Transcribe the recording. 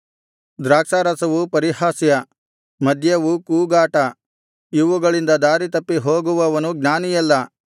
ದ್ರಾಕ್ಷಾರಸವು ಪರಿಹಾಸ್ಯ ಮದ್ಯವು ಕೂಗಾಟ ಇವುಗಳಿಂದ ದಾರಿತಪ್ಪಿ ಹೋಗುವವನು ಜ್ಞಾನಿಯಲ್ಲ